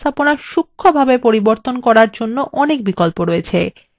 এবং charts উপস্থাপনা সুক্ষ্মভাবে পরিবর্তন করার অনেক বিকল্প আছে